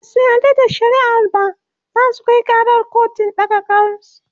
Basu yarda da shari'ar ba zasu Kai karar kotun ɗaga kars